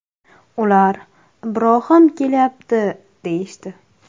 Ular ‘Ibrohim kelyapti’ deyishdi.